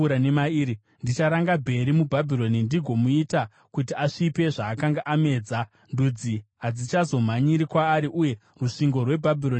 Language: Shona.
Ndicharanga Bheri muBhabhironi ndigomuita kuti asvipe zvaamedza. Ndudzi hadzichazomhanyiri kwaari. Uye rusvingo rweBhabhironi ruchawa.